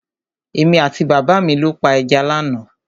Èmi àti bàbá mi lọ pa ẹja lánàá.